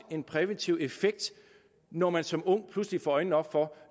en præventiv effekt når man som ung pludselig får øjnene op for